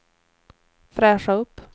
fräscha upp